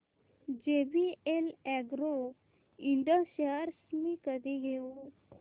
JVL agro ind shares मी कधी घेऊ